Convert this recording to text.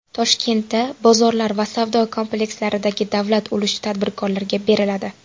Toshkentda bozorlar va savdo komplekslaridagi davlat ulushi tadbirkorlarga beriladi.